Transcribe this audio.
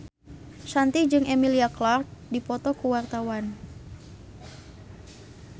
Shanti jeung Emilia Clarke keur dipoto ku wartawan